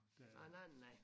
Nej nej nej nej